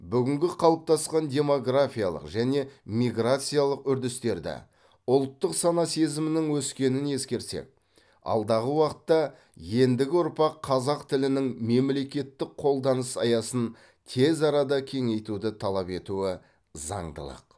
бүгінгі қалыптасқан демографиялық және миграциялық үрдістерді ұлттық сана сезімнің өскенін ескерсек алдағы уақытта ендігі ұрпақ қазақ тілінің мемлекеттік қолданыс аясын тез арада кеңейтуді талап етуі заңдылық